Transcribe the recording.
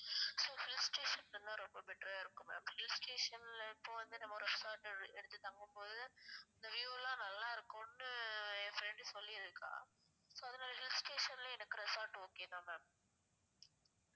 Hill station னா ரொம்ப better ஆ இருக்கும் ma'am hill station ல இப்போ வந்து நம்ம ஒரு resort எடுத்து தங்கும் போது அந்த view எல்லாம் நல்லா இருக்கும்னு என் friend சொல்லிருக்கா so அதுனால hill station லே எனக்கு resort okay தான் ma'am